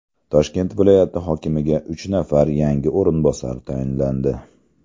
Toshkent viloyati hokimiga uch nafar yangi o‘rinbosar tayinlandi.